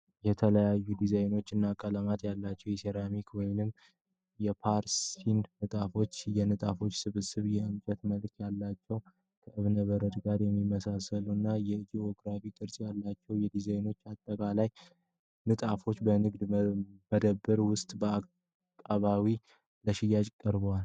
የተለያዩ ዲዛይኖች እና ቀለሞች ያላቸው የሴራሚክ ወይም የፖርሴል ንጣፎችን ። የንጣፉች ስብስብ የእንጨት መልክ ያላቸውን፣ ከእብነበረድ ጋር የሚመሳሰሉ እና የጂኦሜትሪክ ቅርጽ ያላቸውን ዲዛይኖች ያጠቃልላል። ንጣፎቹ በንግድ መደብር ውስጥ በአቀባዊ ለሽያጭ ቀርበዋል።